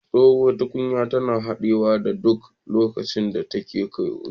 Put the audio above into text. Tsohuwar tukunya tana haɗawa a duk lokacin da ta ƙone